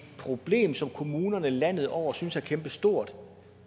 problem som kommunerne landet over synes er kæmpestort